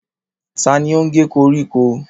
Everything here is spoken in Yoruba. Ta ni ó ń ge koríko?